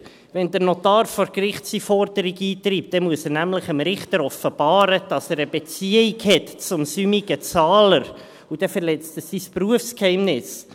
Wenn der Notar vor Gericht seine Forderung eintreibt, dann muss er dem Richter nämlich offenbaren, dass er eine Beziehung zum säumigen Zahler hat, und damit verletzt er sein Berufsgeheimnis.